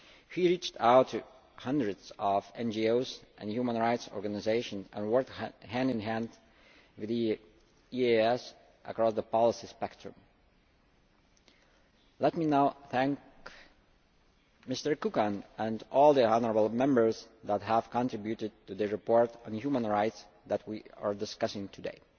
he reached out to hundreds of NGOs and human rights organisations and worked hand in hand with the EEAS across the policy spectrum. Let me now thank Mr Kukan and all the honourable Members that have contributed to the report on human rights that we are discussing today.